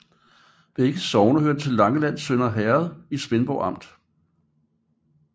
Begge sogne hørte til Langelands Sønder Herred i Svendborg Amt